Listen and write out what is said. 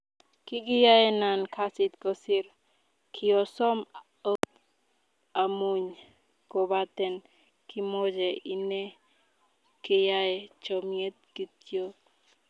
kigiyaenan kasit kosir, kiosom ogot amuny kopaten kimoche ine keyai chomiet kityok.